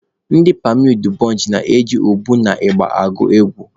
Ndị pammy udubonchị na-eji ụbọ na ịgba agụ egwu.